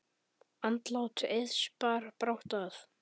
Andlát Eiðs bar brátt að.